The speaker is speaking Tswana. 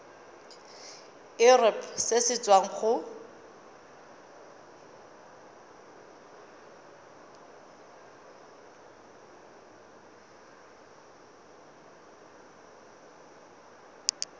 irp se se tswang go